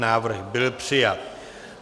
Návrh byl přijat.